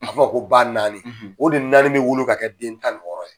A bɛ fɔ ko ba naani o de naani bɛ wolo ka kɛ den tan ni wƆɔrɔ ye.